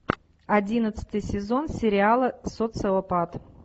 одиннадцатый сезон сериала социопат